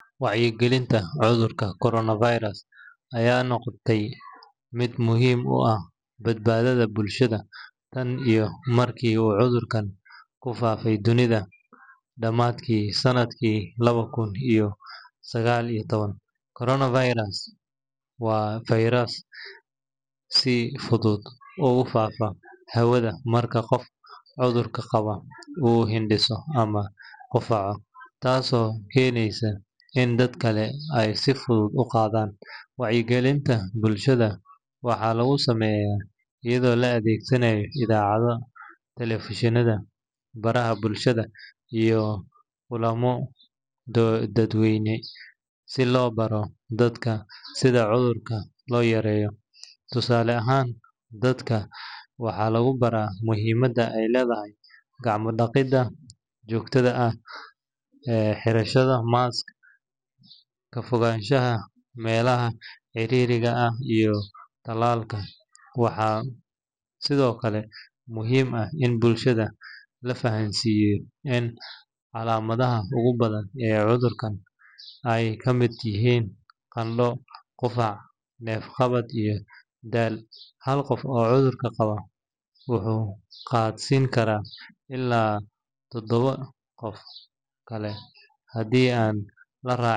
Wacyigelinta cudurka coronavirus ayaa noqotay mid muhiim u ah badbaadada bulshada tan iyo markii uu cudurkan ku faafay dunida dhammaadkii sannadkii laba kun iyo sagaal iyo toban. Coronavirus waa fayras si fudud ugu faafa hawada marka qof cudurka qaba uu hindhiso ama qufaco, taasoo keeneysa in dad kale ay si fudud u qaadaan. Wacyigelinta bulshada waxaa lagu sameeyaa iyadoo la adeegsanayo idaacadaha, telefishinnada, baraha bulshada iyo kulamo dadweyne si loo baro dadku sida cudurka loo yareeyo. Tusaale ahaan, dadka waxaa lagu baraa muhiimadda ay leedahay gacmo dhaqidda joogtada ah, xirashada mask, ka fogaanshaha meelaha ciriiriga ah iyo tallaalka. Waxaa sidoo kale muhiim ah in bulshada la fahamsiiyo in calaamadaha ugu badan ee cudurkan ay ka mid yihiin qandho, qufac, neef-qabad iyo daal. Hal qof oo cudurka qaba wuxuu qaadsiin karaa ilaa toddobo qof kale haddii aan la raaci.